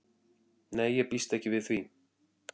Nei ég býst ekki við því.